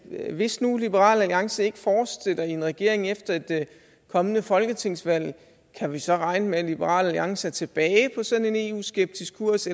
hvis nu liberal alliance ikke fortsætter i regering efter et kommende folketingsvalg kan vi så regne med at liberal alliance er tilbage på sådan en eu skeptisk kurs